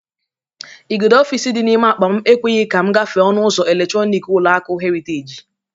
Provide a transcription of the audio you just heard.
Igudo ọfịs dị n'ime akpa m ekweghi ka m gafe ọnụ ụzọ eletrọnik ụlọaku Heriteji